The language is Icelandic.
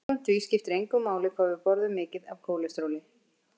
Samkvæmt því skipti engu máli hvað við borðum mikið af kólesteróli.